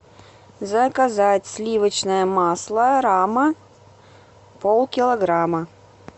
заказать сливочное масло рама полкилограмма